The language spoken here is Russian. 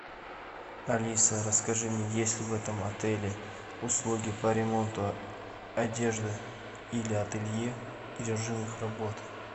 алиса расскажи мне есть ли в этом отеле услуги по ремонту одежды или ателье и режим их работы